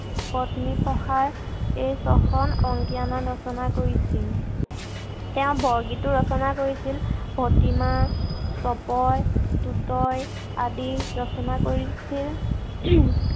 পত্নী প্ৰসাৰ এই ছখন অংকীয়া নাট ৰচনা কৰিছিল। তেওঁ বৰগীতো ৰচনা কৰিছিল। প্ৰতিমা, তপয়, তুতয় আদি ৰচনা কৰি ছিল।